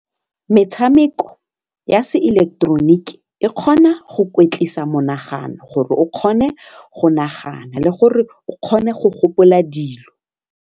Metshameko ya se ileketeroniki e kgona go kwetlisa monagano gore o kgone go nagana le gore o kgone go gopola dilo.